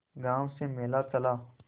गांव से मेला चला